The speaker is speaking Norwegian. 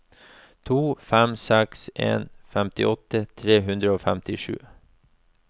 to fem seks en femtiåtte tre hundre og femtisju